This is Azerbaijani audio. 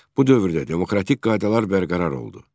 Bu dövrdə demokratik qaydalar bərqərar oldu.